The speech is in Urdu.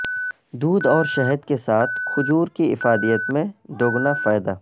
دودھ اور شہد کے ساتھ کھجور کی افادیت میں دگنا فائدہ